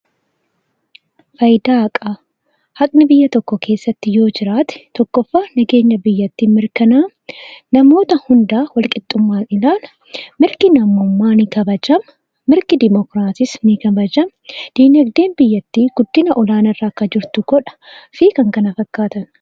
Faayidaa haqaa: haqni biyya tokko keessatti yoo jiraate, tokkoffaa nageenya biyyattii mirkanaa'a. Namoota hundaa walqixxummaan ilaala. Mirgi namummaa ni kabajama. Mirgi Dimookiraasiis ni kabajama. Dinagdeen biyyattii guddina olaanaa irra akka jiraatu godha fi kan kana fakkaatanidha.